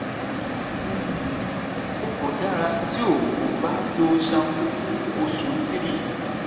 um o ko dara ti o ko ba lo shampoo fun osu three